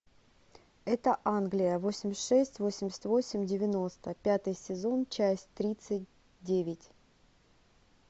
это англия восемьдесят шесть восемьдесят восемь девяносто пятый сезон часть тридцать девять